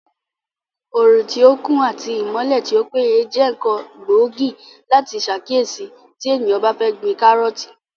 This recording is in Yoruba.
Òrùn tí ó kún àti ìmọ́lẹ̀ tí ó péye jẹ́ ǹkan gbóògì láti sàkíyèsí tí èèyàn bá fẹ́ gbin kárọ̀ọ̀tì